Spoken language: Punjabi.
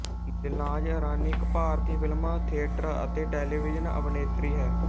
ਦਿਲਨਾਜ਼ ਇਰਾਨੀ ਇੱਕ ਭਾਰਤੀ ਫਿਲਮ ਥਿਏਟਰ ਅਤੇ ਟੈਲੀਵਿਜ਼ਨ ਅਭਿਨੇਤਰੀ ਹੈ